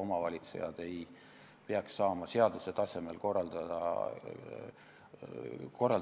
Omavalitsejad peaks saama seaduse tasemel korraldada